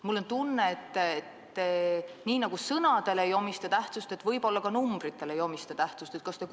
Mul on tunne, et nii nagu te ei omista tähtsust sõnadele, nii te võib-olla ei omista tähtsust ka numbritele.